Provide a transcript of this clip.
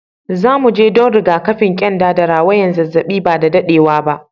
Zu mu je dan rigakafin kyanda da rawayan zazzabi ba da daddewa ba.